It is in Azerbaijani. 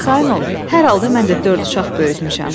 Arxayın ol, hər halda mən də dörd uşaq böyütmüşəm.